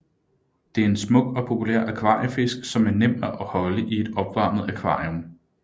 Det er en smuk og populær akvariefisk som er nem at holde i et opvarmet akvarium